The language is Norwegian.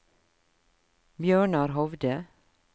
Bjørnar Hovde